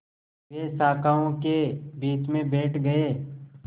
वे शाखाओं के बीच में बैठ गए